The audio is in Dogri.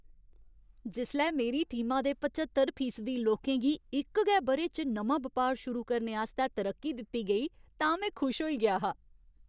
जिसलै मेरी टीमा दे पच्चतर फीसदी लोकें गी इक गै ब'रे च नमां बपार शुरू करने आस्तै तरक्की दित्ती गेई तां में खुश होई गेआ हा।